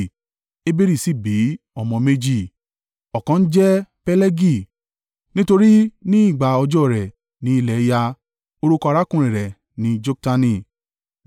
Eberi sì bí ọmọ méjì: ọ̀kan ń jẹ́ Pelegi, nítorí ní ìgbà ọjọ́ rẹ̀ ni ilẹ̀ ya; orúkọ arákùnrin rẹ̀ ni Joktani.